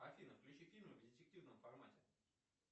афина включи фильмы в детективном формате